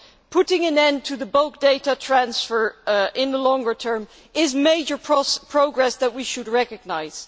Putting an end to the bulk data transfer in the longer term is major progress that we should recognise.